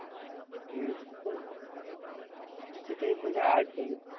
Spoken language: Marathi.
हं तिथं एक म्हणजे